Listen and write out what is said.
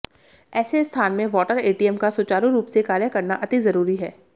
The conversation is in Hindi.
ऐसे स्थान में वाटर एटीएम का सुचारू रूप से कार्य करना अति जरूरी है